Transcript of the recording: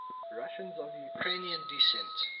russians of ukrainian descent